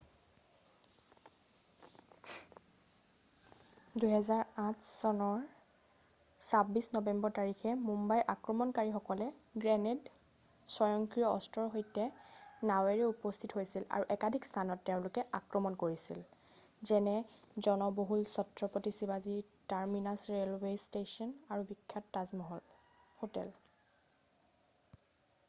2008 চনৰ 26 নৱেম্বৰ তাৰিখে মুম্বাই আক্ৰমণকাৰীসকলে গ্ৰেনেড স্বয়ংক্ৰিয় অস্ত্ৰৰ সৈতে নাৱেৰে উপস্থিত হৈছিল আৰু একাধিক স্থানত তেওঁলোকে আক্ৰমণ কৰিছিল যেনে জনবহুল চত্ৰপতি শিৱাজী টাৰমিনাছ ৰেলৱে ষ্টেশ্যন আৰু বিখ্যাত তাজমহল হোটেল